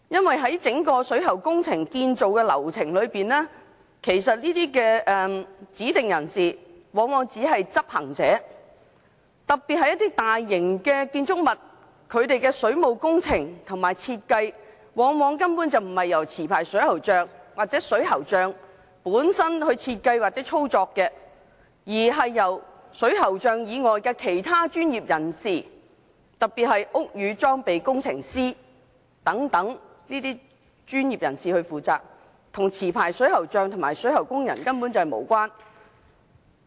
在整個水喉工程建造的流程裏，這些指定人士往往只是執行者，特別是一些大型建築物的水務工程及設計，根本不是由持牌水喉匠或水喉匠設計或操作，而是由水喉匠以外的其他專業人士，特別是屋宇裝備工程師等專業人士負責，與持牌水喉匠及水喉工人無關。